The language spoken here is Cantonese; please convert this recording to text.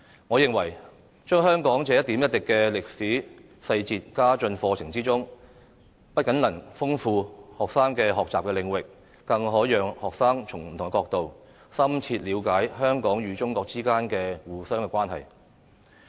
我認為將香港這一點一滴的歷史細節加進課程之中，不僅能豐富學生的學習領域，更可讓學生從不同角度，深切了解香港與中國之間的相互關係。